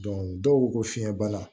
dɔw ko ko fiɲɛbana